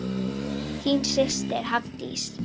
Þín systir, Hafdís.